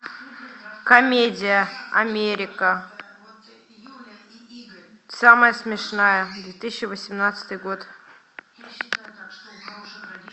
комедия америка самая смешная две тысячи восемнадцатый год